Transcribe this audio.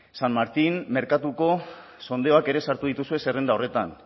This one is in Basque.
san martin merkatuko sondeoak ere sartu dituzue zerrenda horretan